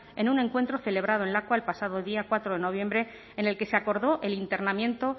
en un encuentro celebrado en lakua el pasado día cuatro de noviembre en el que se acordó el internamiento